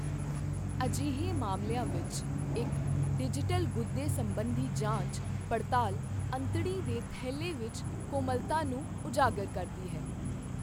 ਅਜਿਹੇ ਮਾਮਲਿਆਂ ਵਿੱਚ, ਇੱਕ ਡਿਜੀਟਲ ਗੁੱਦੇ ਸੰਬੰਧੀ ਜਾਂਚ ਪੜਤਾਲ ਅੰਤੜੀ ਦੇ ਥੈਲੇ ਵਿੱਚ ਕੋਮਲਤਾ ਨੂੰ ਉਜਾਗਰ ਕਰਦੀ ਹੈ।